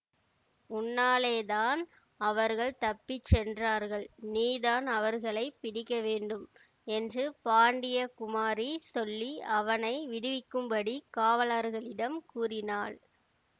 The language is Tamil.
உன்னாலேதான் அவர்கள் தப்பி சென்றார்கள் நீதான் அவர்களை பிடிக்க வேண்டும் என்று பாண்டிய குமாரி சொல்லி அவனை விடுவிக்கும்படி காவலர்களிடம் கூறினாள்